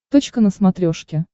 точка на смотрешке